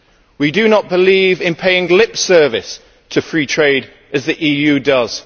We do not believe in paying lip service to free trade, as the EU does.